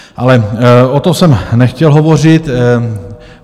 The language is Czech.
Ale o tom jsem nechtěl hovořit.